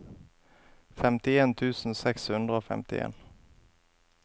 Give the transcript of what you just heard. femtien tusen seks hundre og femtien